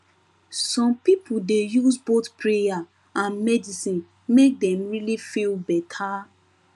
some people dey use both prayer and medicine make dem really feel better